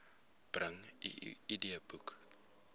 bring u idboek